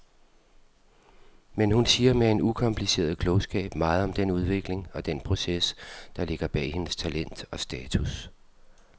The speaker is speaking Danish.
Men hun siger med en ukompliceret klogskab meget om den udvikling og den proces, der ligger bag hendes talent og status.